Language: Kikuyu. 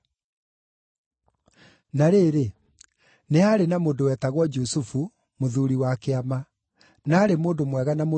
Na rĩrĩ, nĩ haarĩ na mũndũ wetagwo Jusufu, mũthuuri wa Kĩama, na aarĩ mũndũ mwega na mũrũngĩrĩru,